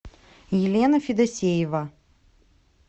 елена федосеева